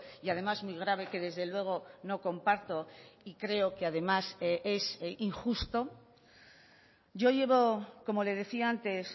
y además muy grave que desde luego no comparto y creo que además es injusto yo llevo como le decía antes